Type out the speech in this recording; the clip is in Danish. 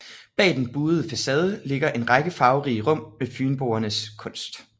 Bag den buede facade ligger en række farverige rum med Fynboernes kunst